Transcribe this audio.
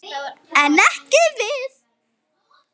En ekki við.